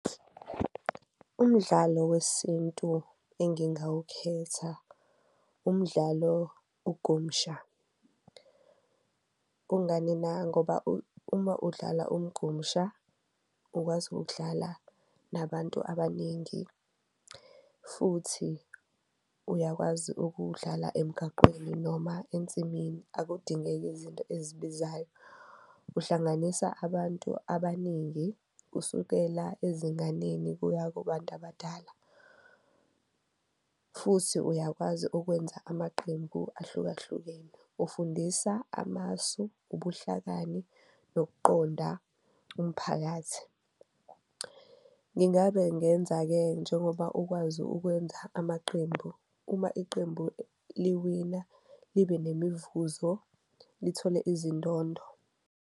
Umdlalo wesintu engingawukhetha umdlalo ugumsha, kungani na ngoba uma udlala ugumsha ukwazi ukudlala nabantu abaningi, futhi uyakwazi ukuwudlala emgaqweni noma ensimini akudingeki izinto ezibizayo. Uhlanganisa abantu abaningi kusukela ezinganeni kuya kubantu abadala futhi uyakwazi ukwenza amaqembu ahlukahlukene, ufundisa amasu, ubuhlakani nokuqonda umphakathi. Ngingabe ngenza-ke njengoba ukwazi ukwenza amaqembu, uma iqembu liwina libe nemivuzo lithole izindondo.